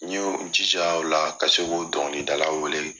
N yo jija o la ka se k'o dɔnkilidala wele